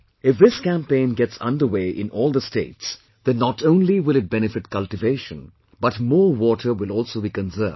If this campaign gets underway in all the states, then not only will it benefit cultivation, but more water will also be conserved